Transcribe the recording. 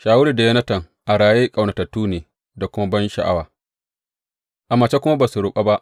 Shawulu da Yonatan, a raye ƙaunatattu ne da kuma bansha’awa, a mace kuma ba su rabu ba.